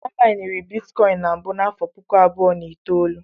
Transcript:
A mainiri Bitikọin na mbụ n'afọ puku abụọ na itoolu.